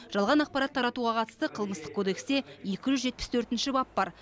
жалған ақпарат таратуға қатысты қылмыстық кодексте екі жүз жетпіс төртінші бап бар